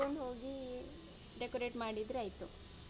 ಅದನ್ ತಗೊಂಡ್ ಹೋಗಿ decorate ಮಾಡಿದ್ರೆ ಆಯ್ತು.